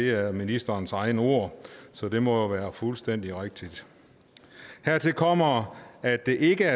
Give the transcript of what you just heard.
er ministerens egne ord så det må jo være fuldstændig rigtigt hertil kommer at det ikke